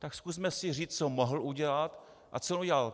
Tak zkusme si říct, co mohl udělat a co udělal.